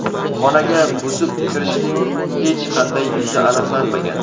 Xonaga buzib kirishning hech qanday izi aniqlanmagan.